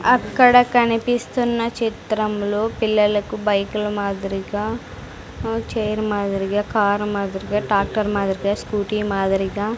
అక్కడ కనిపిస్తున్న చిత్రంలో పిల్లలకు బైకుల మాదిరిగా ఉ చైర్ మాదిరిగా కార్ మాదిరిగా టాక్టర్ మాదిరిగా స్కూటీ మాదిరిగా--